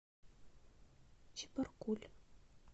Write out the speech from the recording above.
чебаркуль